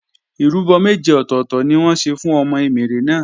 Ìrúbọ méje ọ̀tọ̀tọ̀ ni wọ́n ṣe fún ọmọ Emèrè náà